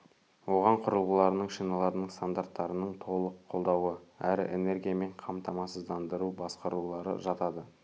оған құрылғыларының шиналарының стандарттарының толық қолдауы әрі энергиямен қамтамасыздандыруды басқарулары жатады